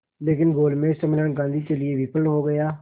लेकिन गोलमेज सम्मेलन गांधी के लिए विफल हो गया